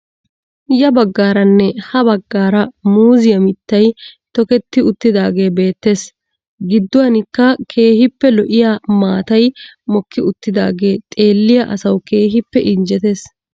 Ya baggaara nne ha baggaara muuzziyaa miittay tokketti uttidaagee beettees. gidduwaanikka keehippe lo'iyaa maatay mokki uttagee xeelliyaa asawu keehippe injjettees.